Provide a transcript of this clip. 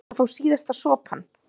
Best að fá síðasta sopann.